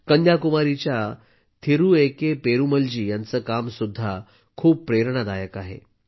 कन्याकुमारीच्या Thiru A K पेरुमलजी यांचं काम सुद्धा खूप प्रेरणादायक आहे